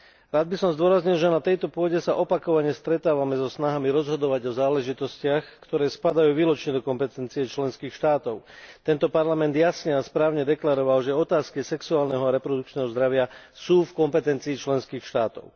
Rád by som zdôraznil, že na tejto pôde sa opakovane stretávame so snahami rozhodovať o záležitostiach, ktoré spadajú výlučne do kompetencie členských štátov, tento Parlament jasne a správne deklaroval, že otázky sexuálneho a reprodukčného zdravia sú v kompetencii členských štátov.